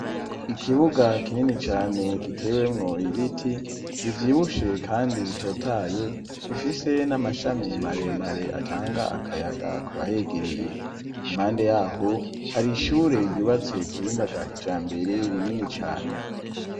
Ikibuga kinini cane gitewemwo ibiti bivyibushe kandi bitotaye bifise n'amashami mare mare atanga akayaga kubahegereye, impande yaho hari ishyure ryubatse ku bhinga bwa kija mbere rinini cane.